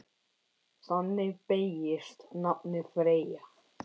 Þannig beygist nafnið Freyja